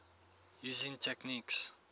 using techniques